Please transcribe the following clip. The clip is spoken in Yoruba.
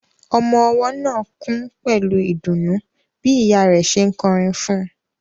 Ọmọ ọwọ́ náà kùn pẹ̀lú ìdùnnú bí ìyá rẹ̀ ṣe ń kọrin fún un.